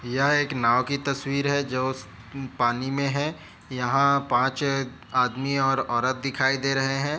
यह एक नाव की तस्वीर है जो पानी में है यहाँ पाँच आदमी और औरत दिखाई दे रहे है।